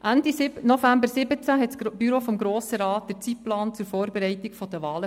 Ende November 2017 verabschiedete das Büro des Grossen Rats den Zeitplan zur Vorbereitung der Wahlen.